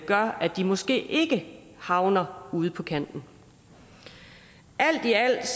gør at de måske ikke havner ude på kanten alt i alt